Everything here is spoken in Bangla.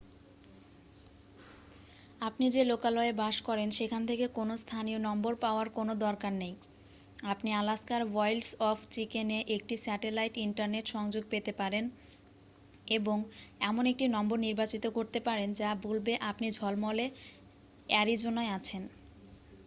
আপনি যে লোকালয়ে বাস করেন সেখান থেকে কোনও স্থানীয় নম্বর পাওয়ার কোনও দরকার নেই আপনি আলাস্কার ওয়াইল্ডস অফ চিকেন'-এ একটি স্যাটেলাইট ইন্টারনেট সংযোগ পেতে পারেন এবং এমন একটি নম্বর নির্বাচিত করতে পারেন যা বলবে আপনি ঝলমলে অ্যারিজোনায় আছেন